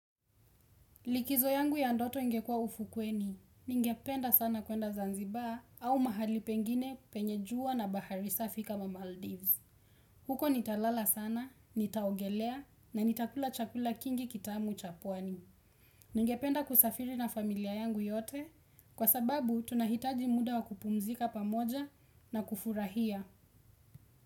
Likizo yangu ya ndoto ingekua ufukweni, ningependa sana kuenda Zanzibar au mahali pengine penye jua na bahari safi kama Maldives. Huko nitalala sana, nitaogelea na nitakula chakula kingi kitamu cha pwani. Ningependa kusafiri na familia yangu yote, kwa sababu tunahitaji muda wa kupumzika pamoja na kufurahia.